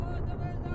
Yox ola!